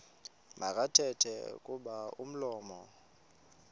makathethe kuba umlomo